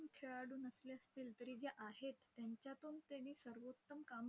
आतून खेळाडू नसले असतील तरी जे आहेत, त्यांच्यातून त्यानी सर्वोत्तम काम